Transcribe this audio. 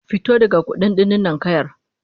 Fito daga kududdufin ninkayar!